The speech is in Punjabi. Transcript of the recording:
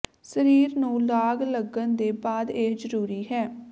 ਸਰੀਰ ਨੂੰ ਲਾਗ ਲੱਗਣ ਦੇ ਬਾਅਦ ਇਹ ਜਰੂਰੀ ਹੈ